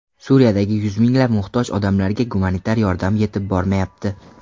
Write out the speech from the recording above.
Suriyadagi yuz minglab muhtoj odamlarga gumanitar yordam yetib bormayapti.